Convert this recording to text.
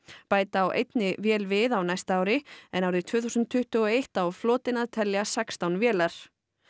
bæta á einni vél við á næsta ári en árið tvö þúsund tuttugu og eitt á flotinn að telja sextán vélar